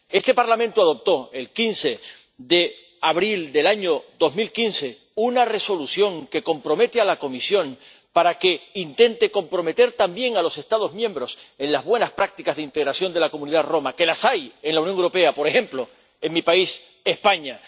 Este Parlamento adoptó, el 15 de abril de 2015, una Resolución que compromete a la Comisión para que intente comprometer también a los Estados miembros en las buenas prácticas de integración de la comunidad romaní, que las hay en la Unión Europea, por ejemplo en mi país, España.